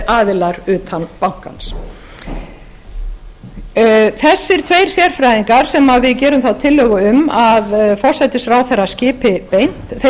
aðilar utan bankans þessir tveir sérfræðingar sem við gerum þá tillögu um að forsætisráðherra skipi beint